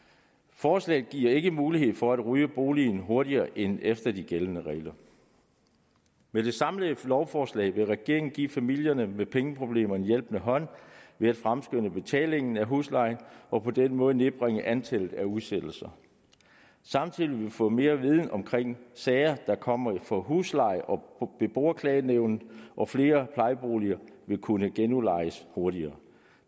forslaget giver ikke mulighed for at rydde boligen hurtigere end efter de gældende regler med det samlede lovforslag vil regeringen give familier med pengeproblemer en hjælpende hånd ved at fremskynde betalingen af huslejen og på den måde nedbringe antallet af udsættelser samtidig vil vi få mere viden omkring sager der kommer for husleje og beboerklagenævn og flere plejeboliger vil kunne genudlejes hurtigere